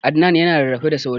Adnan ya na rarrafe da sauri